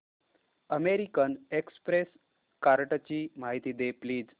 American Express कार्डची माहिती दे प्लीज